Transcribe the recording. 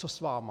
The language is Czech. Co s vámi?